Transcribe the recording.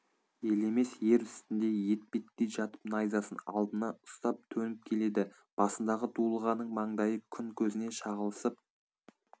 елемес ер үстінде етбеттей жатып найзасын алдына ұстап төніп келеді басындағы дулығаның маңдайы күн көзіне шағылысып